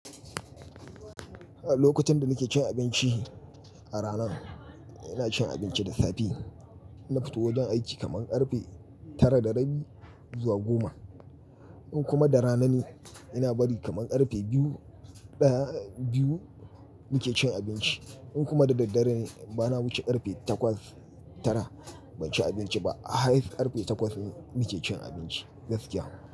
A lokutan da nake cin abinci a rana, ina cin abinci da safe. Na fito wajen aiki kaman ƙarfe tara da rabi zuwa goma. In kuma da rana ne ina bari kaman ƙarfe biyu, daya, biyu muke cin abinci. In kuma da daddare ne bana wuce ƙarfe takwas, tara ban ci abinci ba. A highest karfe takwas muke cin abinci, gaskiya.